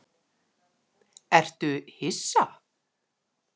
Ertu hissa?